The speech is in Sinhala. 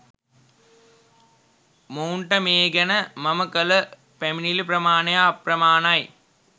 මොවුන්ට මේ ගැන මම කල පැමිණිලි ප්‍රමාණය අප්‍රමාණයි